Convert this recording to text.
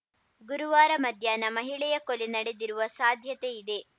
ಗುರುವಾರ ಮಧ್ಯಾಹ್ನ ಮಹಿಳೆಯ ಕೊಲೆ ನಡೆದಿರುವ ಸಾಧ್ಯತೆ ಇದೆ